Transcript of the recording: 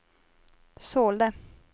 sålde